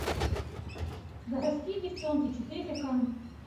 городские девчонки четыре ка